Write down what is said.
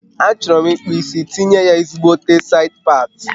A chọrọ m ikpụ isi tinye ya ezigbote said pati